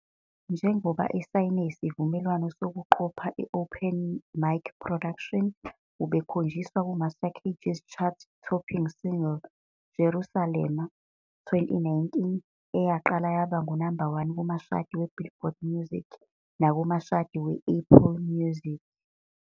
Njengoba esayine isivumelwano sokuqopha i-Open Mic Production, ubekhonjiswa ku-Master KG's chart-topping single, Jerusalema, 2019, eyaqala yaba ngu-number 1 kumashadi weBillboard Music nakumashadi we-Apple Music.